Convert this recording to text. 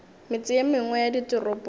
metse ye mengwe ya ditoropong